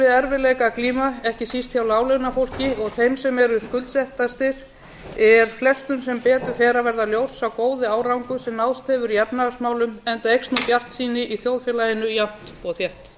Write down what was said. erfiðleika að glíma ekki síst hjá láglaunafólki og þeim sem eru skuldsettastir er flestum sem betur fer að verða ljós sá góði árangur sem náðst hefur í efnahagsmálum enda eykst nú bjartsýni í þjóðfélaginu jafnt og þétt